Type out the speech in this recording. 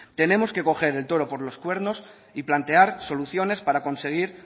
tenemos que coger el toro por los cuernos y plantear soluciones para conseguir